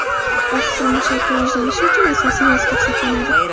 Oqsil mushak rivojlanishi uchun asosiy vosita hisoblanadi.